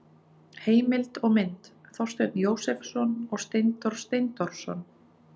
Heimild og mynd: Þorsteinn Jósepsson og Steindór Steindórsson.